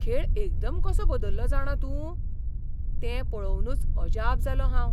खेळ एकदम कसो बदल्लो जाणा तूं? तें पळोवनूच अजाप जालों हांव.